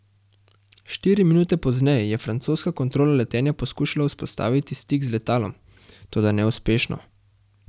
Štiri minute pozneje je francoska kontrola letenja poskušala vzpostaviti stik z letalom, toda neuspešno.